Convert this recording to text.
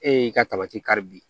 E y'i ka tamati kari bi